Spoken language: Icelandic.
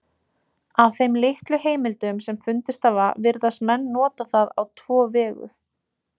Af þeim litlu heimildum sem fundist hafa virðast menn nota það á tvo vegu.